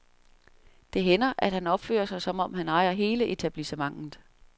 Det hænder, at han opfører sig, som om han ejer hele etablissementet.